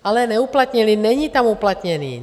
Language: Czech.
Ale neuplatnili, není tam uplatněný.